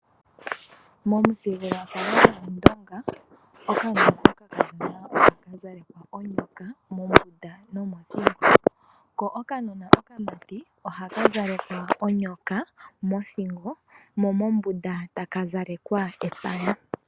Momuthigululwakalo gwaawambo unene tuu aandonga uunona wuukadhona ohawu zalekwa onyoka mothingo nomombunda ohamu zalekwa omagwe. Okaana ko kamati ohakazala onyoka mothingo nosho woo epaya mombunda.